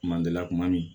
Mandenla kuma min